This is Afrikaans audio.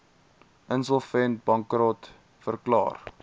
insolvent bankrot verklaar